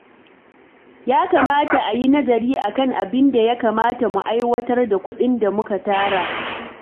Ya kamata a yi nazari a kan abin da ya kamata mu aiwatar da kuɗin da muka tara.